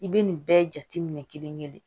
I bɛ nin bɛɛ jate minɛ kelen-kelen de